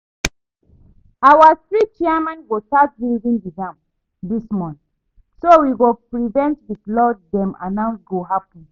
Our street chairman go start building the dam dis month so we go prevent the flood dem announce go happen